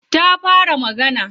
Ta fara magana?